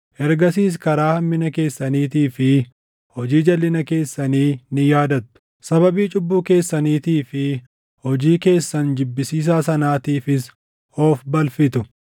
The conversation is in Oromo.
Ergasiis karaa hammina keessaniitii fi hojii jalʼina keessanii ni yaadattu; sababii cubbuu keessaniitii fi hojii keessan jibbisiisaa sanaatiifis of balfitu.